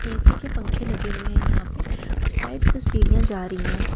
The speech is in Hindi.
ए_सी के पंखे लगे हुए हैं यहां पे और साइड से सीढ़ियां जा रही है।